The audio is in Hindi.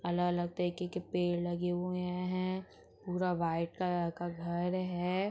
अलग-अलग तरीके के पेड़ लगे हुए हैं। पूरा व्हाइट कलर का घर है।